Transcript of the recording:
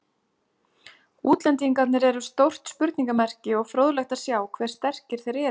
Útlendingarnir eru stórt spurningamerki og fróðlegt að sjá hve sterkir þeir eru.